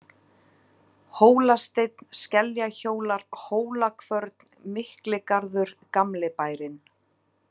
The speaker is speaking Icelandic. Hólasteinn, Skeljahólar, Hólakvörn, Mikligarður - gamli bærinn